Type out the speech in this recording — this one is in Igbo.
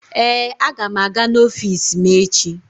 Ee, aga m aga n'ọfiisi m echi.